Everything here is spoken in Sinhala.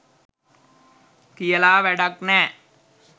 කියලා වැඩක් නෑ.